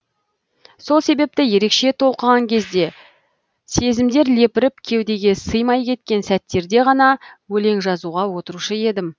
сол себепті ерекше толқыған кезде сезімдер лепіріп кеудеге сыймай кеткен сәттерде ғана өлең жазуға отырушы едім